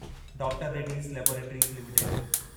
doctor Reddy's laboratories limited